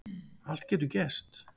Allt getur gerst